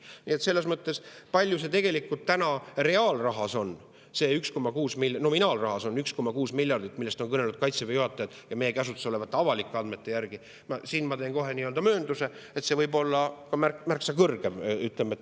Nii et selles mõttes, kui palju tegelikult reaalrahas, nominaalrahas, on see 1,6 miljardit, millest on kõnelenud Kaitseväe juhatajad, siis meie käsutuses olevate avalike andmete järgi ma teen kohe möönduse, et see võib olla ka märksa.